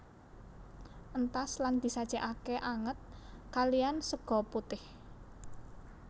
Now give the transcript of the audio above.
Entas lan disajekake anget kaliyan sega putih